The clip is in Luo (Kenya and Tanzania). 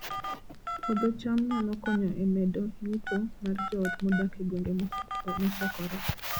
Puodho cham nyalo konyo e medo yuto mar joot modak e gwenge mosokore